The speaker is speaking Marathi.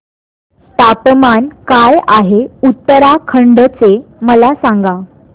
तापमान काय आहे उत्तराखंड चे मला सांगा